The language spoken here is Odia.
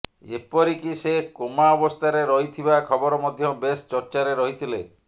ଏପରିକି ସେ କୋମା ଅବସ୍ଥାରେ ରହିଥିବା ଖବର ମଧ୍ୟ ବେଶ ଚର୍ଚ୍ଚାରେ ରହିଥିଲେ